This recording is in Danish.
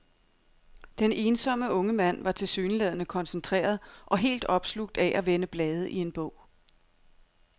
Den ensomme unge mand var tilsyneladende koncentreret og helt opslugt af at vende blade i en bog.